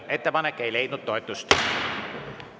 Ettepanek ei leidnud toetust.